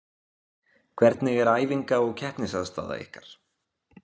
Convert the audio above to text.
Hvernig er æfinga og keppnisaðstaða ykkar?